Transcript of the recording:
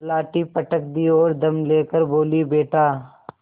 लाठी पटक दी और दम ले कर बोलीबेटा